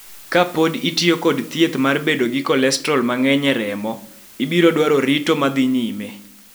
Ka pod itiyo kod thieth mar bedo gi kolestrol mang�eny e remo, ibiro dwaro rito ma dhi nyime.